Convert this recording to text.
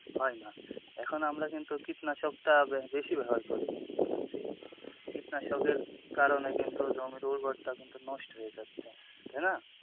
হয়না এখন আমরা কিন্তু কীটনাশক টা বেশি ব্যবহার করি, কীটনাশকের কারণে কিন্তু জমির উর্বরতা কিন্তু নষ্ট হয়ে যাচ্ছে তাই না?